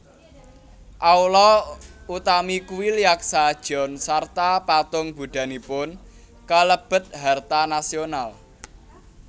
Aula utami kuil Yaksa jeon sarta patung Buddhanipun kalebet harta nasional